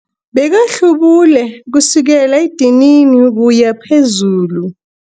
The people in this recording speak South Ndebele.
Bekahlubule kusukela edinini ukuya phezulu.